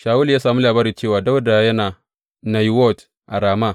Shawulu ya sami labari cewa, Dawuda yana Nayiwot a Rama.